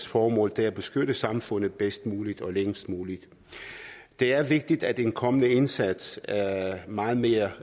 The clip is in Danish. formål er at beskytte samfundet bedst muligt og længst muligt det er vigtigt at en kommende indsats meget mere